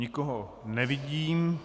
Nikoho nevidím.